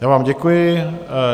Já vám děkuji.